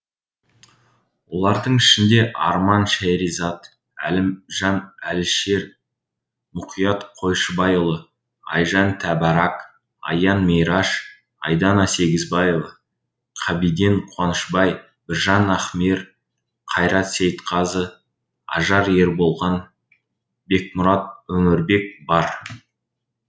олардың ішінде арман шеризат әлімжан әлішер мұқият қойшыбайұлы айжан тәбарак аян мейраш айдана сегізбаева қабиден қуанышбай біржан ахмер қайрат сейітқазы ажар ерболған бекмұрат өмірбек бар